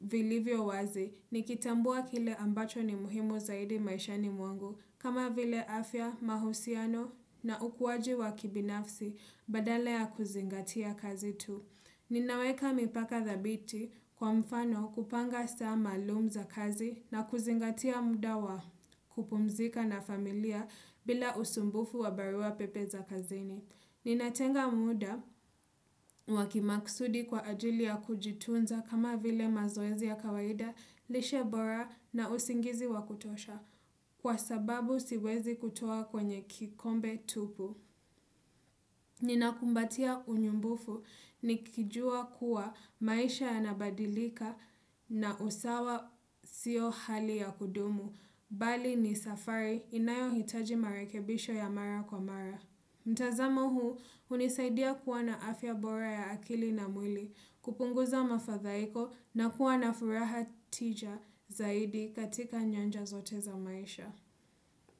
vilivyo wazi, nikitambua kile ambacho ni muhimu zaidi maisha ni mwangu, kama vile afya, mahusiano na ukuwaji wa kibinafsi, badala ya kuzingatia kazi tu. Ninaweka mipaka thabiti kwa mfano kupanga saa maluum za kazi na kuzingatia muda wa kupumzika na familia bila usumbufu wa barua pepe za kazini. Ninatenga muda wa kimaksudi kwa ajili ya kujitunza kama vile mazoezi ya kawaida, lishebora na usingizi wa kutosha kwa sababu siwezi kutoa kwenye kikombe tupu. Ni na kumbatia unyumbufu ni kijua kuwa maisha yanabadilika na usawa siyo hali ya kudumu, bali ni safari inayo hitaji marekebisho ya mara kwa mara. Mtazamo huu unisaidia kuwa na afya bora ya akili na mwili, kupunguza mafadhaiko na kuwa na furaha tija zaidi katika nyanja zote za maisha.